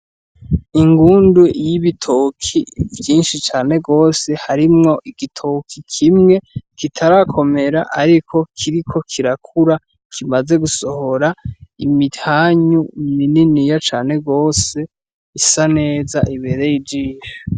Ingundu y'ibitoki vyinshi cane gose, harimwo igitoki kimwe kitarakomera ariko kiriko kirakura kimaze gusohora imitanyu mininiya cane gose isa neza, ibereye ijisho.